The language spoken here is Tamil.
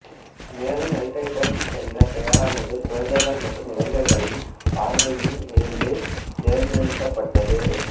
மேலும் நைட் ரைடர்ஸ் என்ற பெயரானது குழந்தைகள் மற்றும் இளைஞர்களின் பார்வையின் இருந்து தேர்ந்தெடுக்கப்பட்டது